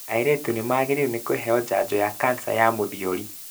Airĩtu nĩmagĩrĩirwo nĩkũheo njanjo ya kansa ya mũthiori